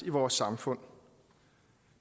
vores samfund